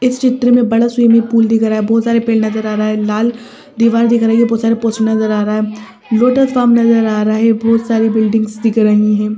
इस चित्र में बड़ा स्विमिंग पूल दिख रहा है बहुत सारे पेड़ नजर आ रहा है लाल दीवार दिख रहा है ये बहुत सारे पोस्ट नजर आ रहा है लोटस फार्म नजर आ रहा है बहुत सारी बिल्डिंग्स दिख रही हैं।